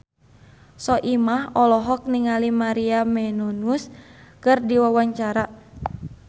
Soimah olohok ningali Maria Menounos keur diwawancara